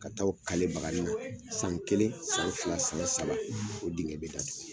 Ka taa o baganin na san kelen, an fila, san saba, o dingɛ bi da tugu